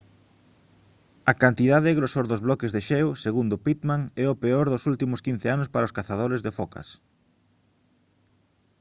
a cantidade e grosor dos bloques de xeo segundo pittman é o peor dos últimos 15 anos para os cazadores de focas